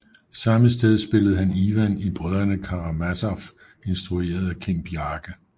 Samme sted spillede han Ivan i Brødrene Karamazov instrueret af Kim Bjarke